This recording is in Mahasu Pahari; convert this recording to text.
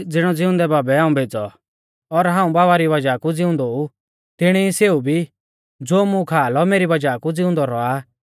ज़िणौ ज़िउंदै बाबै हाऊं भेज़ौ और हाऊं बाबा री वज़ाह कु ज़िउंदौ ऊ तिणी ई सेऊ भी ज़ो मुं खा लौ मेरी वज़ाह कु ज़िउंदौ रौआ आ